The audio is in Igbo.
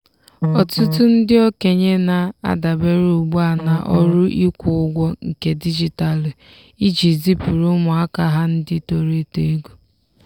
ọtụtụ ndị okenye na-adabere ugbu a na ọrụ ịkwụ ụgwọ nke dijitalụ iji zipuru ụmụaka ha ndị toro eto ego.